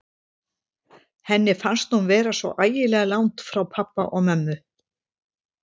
Henni fannst hún vera svo ægilega langt frá pabba og mömmu.